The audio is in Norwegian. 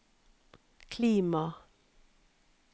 klima